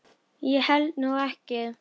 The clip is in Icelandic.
Ég held nú ekki.